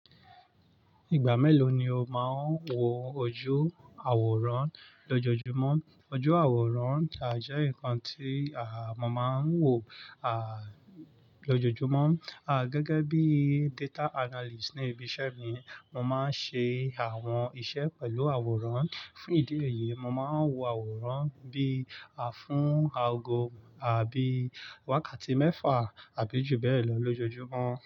Ìgbà mélòó ni o máa ń wo ojú àwòrán lójoojúmọ́? Ojú àwòrán à jẹ́ nǹkan tí àmọ máa ń wò à lójoojúmọ́. À gẹ́gẹ́ bí data analyst ní ibi iṣẹ́ mi, mo máa ń ṣe àwọn iṣẹ́ pẹ̀lú àwòrán. Fún ìdí èyí, mo máa ń wo àwòrán bí à fún àago àbí wákàtí mẹ́fà àbí jù bẹ́ẹ̀ lọ lójoojúmọ́